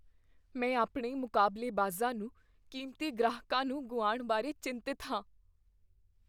ਮੈਂ ਆਪਣੇ ਮੁਕਾਬਲੇਬਾਜ਼ਾਂ ਨੂੰ ਕੀਮਤੀ ਗ੍ਰਾਹਕਾਂ ਨੂੰ ਗੁਆਉਣ ਬਾਰੇ ਚਿੰਤਤ ਹਾਂ।